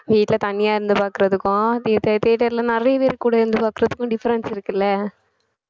வீட்ல தனியா இருந்து பாக்குறதுக்கும் theater theater ல நிறைய பேர் கூட இருந்து பாக்கறதுக்கும் difference இருக்குல்ல